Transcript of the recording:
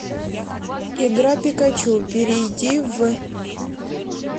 игра пикачу перейди в